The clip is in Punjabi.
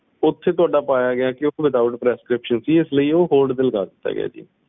ਓਥੇ ਤੁਹਾਡਾ ਪੇਯਾਗ ਗਈ ਕਿ withoutprescription ਉਹ ਸੀ ਇਸਲਈ ਉਹ hold ਤੇ ਪਾ ਦਿੱਤਾ ਗਿਆ ਜੀ